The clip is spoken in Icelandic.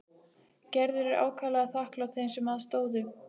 Gerður er ákaflega þakklát þeim sem að stóðu.